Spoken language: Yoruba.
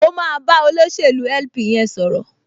O máa bá olóṣèlú LP yẹn sọ̀rọ̀